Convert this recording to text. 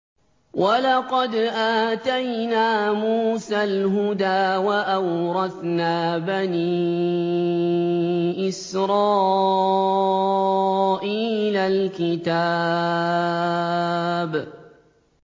وَلَقَدْ آتَيْنَا مُوسَى الْهُدَىٰ وَأَوْرَثْنَا بَنِي إِسْرَائِيلَ الْكِتَابَ